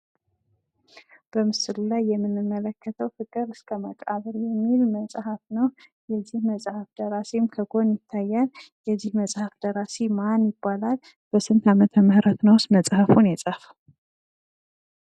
በምስሉ ላይ የምንመለከተው ፍቅር እስከመቃብር የሚል መጽሐፍ ነው። ይህ መጽሐፍ ደራሲው ከጎን ይታያል። የዚህ መጽሐፍ ደራሲ ማን ይባላል? በስንት አመተ ምህረት መጽሐፉን የጻፈው?